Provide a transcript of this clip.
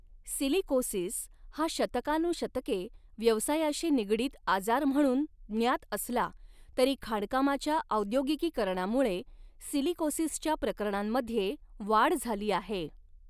Silicosis हा शतकानुशतके व्यवसायाशी निगडीत आजार म्हणून ज्ञात असला तरी, खाणकामाच्या औद्योगिकीकरणामुळे सिलिकोसिसच्या प्रकरणांमध्ये वाढ झाली आहे.